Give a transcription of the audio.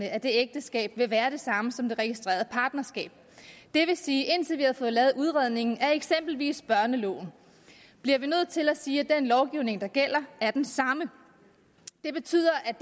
af det ægteskab vil være de samme som af det registrerede partnerskab det vil sige at indtil vi har fået lavet udredningen af eksempelvis børneloven bliver vi nødt til at sige at den lovgivning der gælder er den samme det betyder at